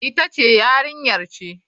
Ita ce Yarinyar ce.